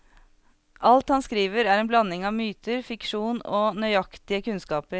Alt han skriver er en blanding av myter, fiksjon og nøyaktige kunnskaper.